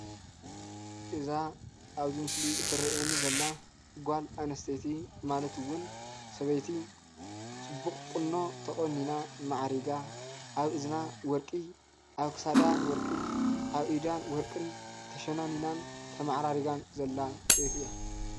እዛ ኣብዚ ምስሊ እትረአ ዘላ ጓል ኣነስተይቲ ማለት እውን ሰበይቲ ፅቡቕ ቁኖ ተቆኒና ማዕሪጋ ኣብ እዝና ወርቂ ኣብ ክሳዳ ወርቂ ኣብ ኢዳ ወርቂን ተሸላሊማን ማዕሪጋን ዘላ ሰበይቲ እያ።